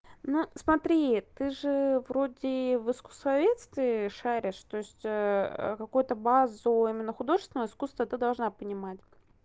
ну смотри ты же вроде в искуствоведстве шаришь то есть какую-то базу именно художественного искусства ты должна понимать